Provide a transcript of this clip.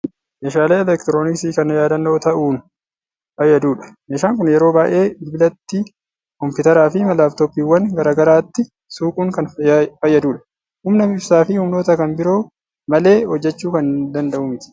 Meeshaalee elektirooniksii kan yaadannoo ta'uun fayyadudha. Meeshaan kun yeroo baay'ee bilbilatti, kompiitaraa fi laappitooppiiwwan garaa garaatti suuquun kan fayyadudha. Humna ibsaa fi humnoota kna biroo malee hojjechuu kan danda'u miti.